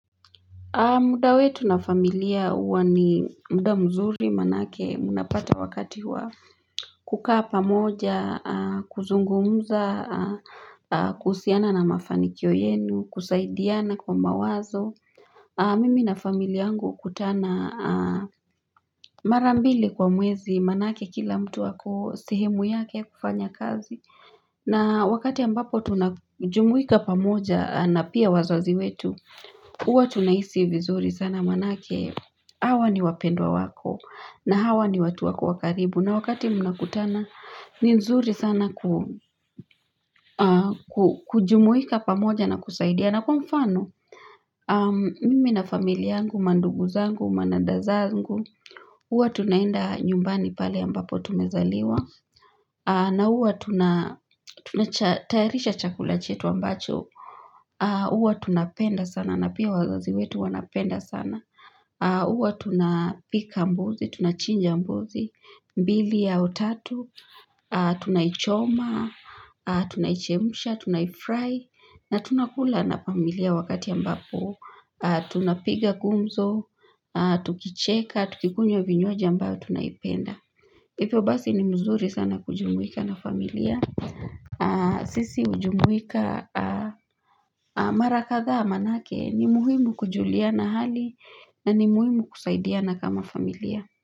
Muda wetu na familia huwa ni muda mzuri, maanake mnapata wakati wa kukaa pamoja, kuzungumuza, kuhusiana na mafanikio yenu, kusaidiana kwa mawazo. Mimi na familia yangu hukutana mara mbili kwa mwezi, maanake kila mtu ako sehemu yake yakufanya kazi. Na, wakati ambapo tunajumuika pamoja na pia wazazi wetu, huwa tunahisi vizuri sana maanake, hawa ni wapendwa wako, na hawa ni watu wako wa karibu. Na wakati mnakutana ni nzuri sana ku kujumuika pamoja na kusaidia. Na kwa mfano, mimi na familia yangu, mandugu zangu, madada zangu, huwa tunaenda nyumbani pale ambapo tumezaliwa. Na huwa tunatarisha chakula chetu ambacho. Huwa tunapenda sana, na pia wazazi wetu wanapenda sana. Huwa tunapika mbuzi, tunachinja mbuzi. Mbili au tatu, tunaichoma, tunaichemsha, tunaifry. Na tunakula na familia wakati ambapo tunapiga gumzo, tukicheka, tukikunywa vinywaji ambayo tunaipenda, hivyo basi ni mzuri sana kujumuika na familia sisi hujumuika mara kadhaa manake, ni muhimu kujuliana hali na ni muhimu kusaidiana kama familia.